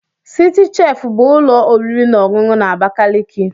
Citi chef bụ ụlọ oriri na ọṅụṅụ na Abakaliki.